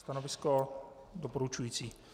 Stanovisko doporučující.